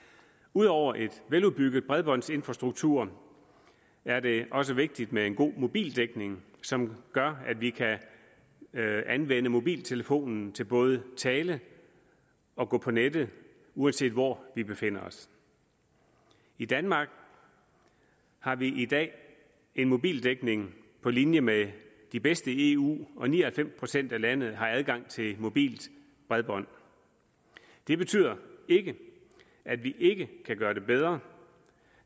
ud over en veludbygget bredbåndsinfrastruktur er det også vigtigt med en god mobildækning som gør at vi kan anvende mobiltelefonen til både at tale og gå på nettet uanset hvor vi befinder os i danmark har vi i dag en mobildækning på linje med de bedste i eu og ni og halvfems procent af landet har adgang til mobilt bredbånd det betyder ikke at vi ikke kan gøre det bedre